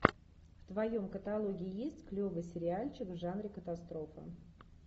в твоем каталоге есть клевый сериальчик в жанре катастрофа